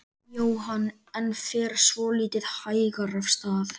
Jóhann: En fer svolítið hægar af stað?